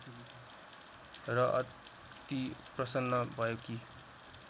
र अति प्रसन्न भएकी